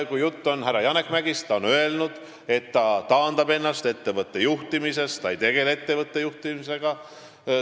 Kui jutt on härra Janek Mäggist, siis ta on öelnud, et ta taandab ennast ettevõtte juhtimisest, ta ei tegele enam ettevõtte juhtimisega.